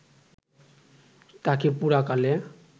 তাকে পুরাকালে